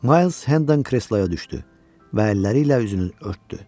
Mayls Hendon kresloya düşdü və əlləri ilə üzünü örtdü.